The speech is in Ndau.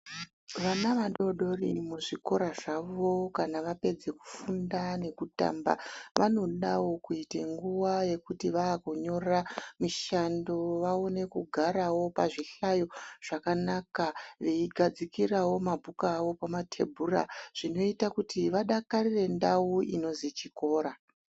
Vana vadodori muzvikora zvavo kana vapedze kufunda nekutamba vanodawo kuite nguwa yekuti kana vakunyora mishando vaone kugarawo pazvihlayo zvakanaka. Veigadzikirawo mabhuku awo pamatebhura .Zvinoite kuti vadakarirewo ndau inozi chikora.